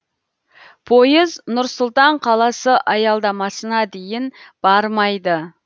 пойыз нұр сұлтан қаласы аялдамасына дейін бармайды